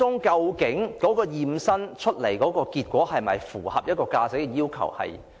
究竟其驗身結果是否符合駕駛要求？